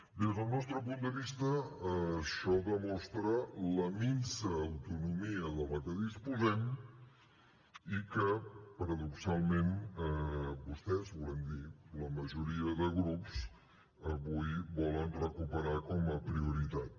des del nostre punt de vista això demostra la minsa autonomia de la que disposem i que paradoxalment vostès volem dir la majoria de grups avui volen recuperar com a prioritat